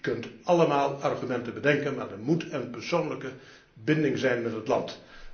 Je kunt allemaal argumenten bedenken, maar er moet een persoonlijke binding zijn met dat land.